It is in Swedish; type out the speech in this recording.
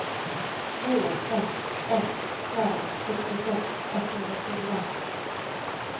två ett ett fem sextiosex etthundrafyra